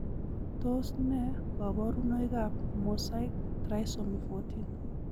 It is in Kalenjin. Tos nee koborunoikab Mosaic trisomy 14?